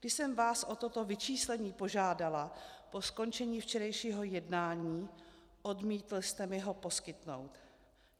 Když jsem vás o toto vyčíslení požádala po skončení včerejšího jednání, odmítl jste mi ho poskytnout.